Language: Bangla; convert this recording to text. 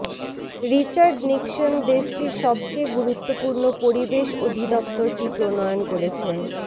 রিচার্ড নিক্সন দেশটির সবচেয়ে গুরুত্বপূর্ণ পরিবেশ অধিদপ্তরটি প্রণয়ন করেছেন